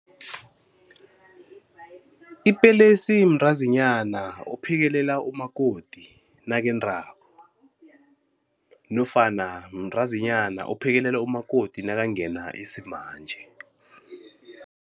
Ipelesi mntazinyana ophekelela umakoti nakendako nofana mntazinyana ophekelela umakoti nakangena isimanje.